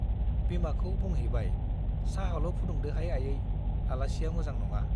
बिमाखौ बुंह्रैबाय चाहाल' फुदुंदोहाय आयै, आलासिया मोजां नङा ।